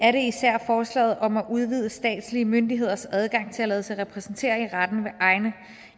især forslaget om at udvide statslige myndigheders adgang til at lade sig repræsentere i retten med egne